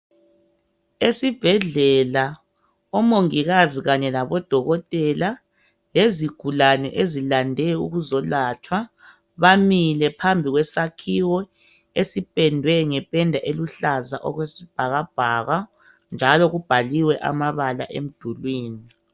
Esibhedlela omongikazi kanye labodokotela lezigulani ezilande ukuzolatshwa. Bamile phambi kwesakhiwo esipendwe ngependa eluhlaza okwesibhakabhaka . Njalo kubhaliwe amabala emdulini .